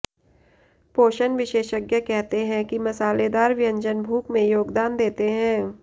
पोषण विशेषज्ञ कहते हैं कि मसालेदार व्यंजन भूख में योगदान देते हैं